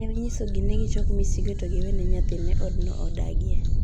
Nen onyisogi ni gichok misigo gi to giweene nyathine odno odagie.